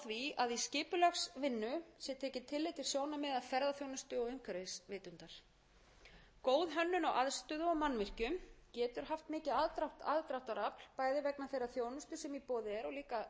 í skipulagsvinnu sé tekið tillit til sjónarmiða ferðaþjónustu og umhverfisvitundar góð hönnun á aðstöðu og mannvirkjum getur haft mikið aðdráttarafl bæði vegna þeirrar þjónustu sem í boði er